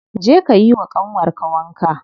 Je ka yiwa ƙanwar ka wanka.